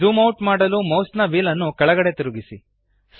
zoom out ಮಾಡಲು ಮೌಸ್ನ wheel ನ್ನು ಕೆಳಗಡೆಗೆ ತಿರುಗಿಸಿ